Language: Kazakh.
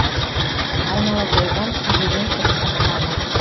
айнала толған күйбелең тіршілік қамы